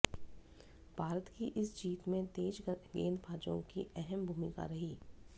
भारत की इस जीत में तेज गेंदबाजों की् अहम भूमिका रही